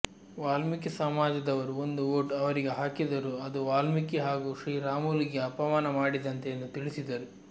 ವಾಲ್ಮೀಕಿ ಸಮಾಜದವರು ಒಂದು ವೋಟು ಅವರಿಗೆ ಹಾಕಿದರೂ ಅದು ವಾಲ್ಮೀಕಿ ಹಾಗೂ ಶ್ರೀರಾಮುಲುಗೆ ಅಪಮಾನ ಮಾಡಿದಂತೆ ಎಂದು ತಿಳಿಸಿದರು